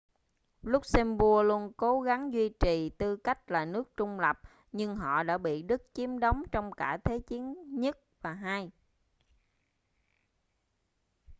luxembourg luôn cố gắng duy trì tư cách là nước trung lập nhưng họ đã bị đức chiếm đóng trong cả thế chiến i và ii